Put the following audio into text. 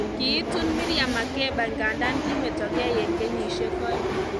Kiitun Miriam Makeba nganda kimetokei eng kenyishek oeng